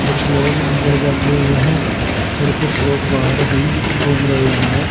कुछ लोग अंदर बैठे हुए हैं और कुछ लोग बाहर भी घूम रहे हैं।